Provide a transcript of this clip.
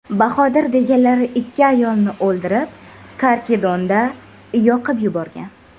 Bahodir deganlari ikki ayolni o‘ldirib, Karkidonda yoqib yuborgan.